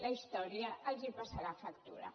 la història els passarà factura